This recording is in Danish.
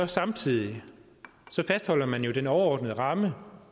samtidig fastholder man jo den overordnede ramme